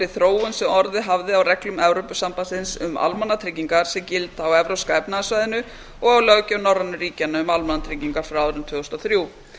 þróun sem orðið hafði á reglum evrópusambandsins um almannatryggingar sem gilda á evrópska efnahagssvæðinu og á löggjöf norrænu ríkjanna um almannatryggingar frá árinu tvö þúsund og þrjú